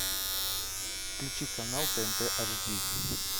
включи канал тнт ашди